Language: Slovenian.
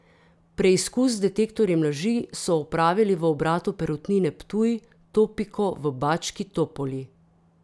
Preizkus z detektorjem laži so opravili v obratu Perutnine Ptuj Topiko v Bački Topoli.